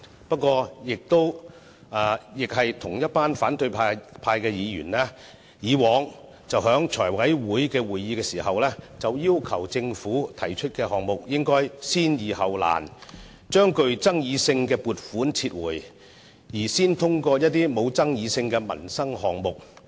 不過，同一群反對派議員以往在財委會會議上，要求政府按先易後難的原則提出項目，把具爭議性的撥款申請撤回，先提交一些不具爭議性的民生項目。